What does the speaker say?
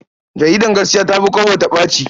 Jaridar Gaskiya ta fi Kwabo ta ɓace.